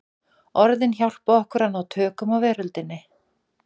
Orðin hjálpa okkur að ná tökum á veröldinni.